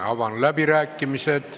Avan läbirääkimised.